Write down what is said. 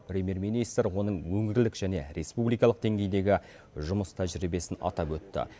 премьер министр оның өңірлік және республикалық деңгейдегі жұмыс тәжірибесін атап өтті